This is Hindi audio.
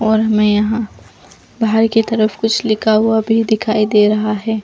और मै यहाँ बाहर की तरफ कुछ लिखा हुआ भी दिखाई दे रहा है।